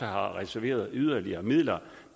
har reserveret yderligere midler